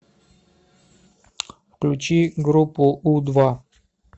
включи группу у два